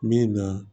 Min na